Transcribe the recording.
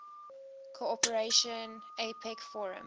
cooperation apec forum